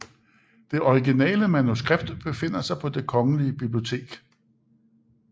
Det originale manuskript befinder sig på Det Kongelige Bibliotek